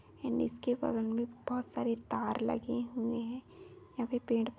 and इसके बारे में बहुत सारे तार लगे हुए हैं यहां पे पेड़ --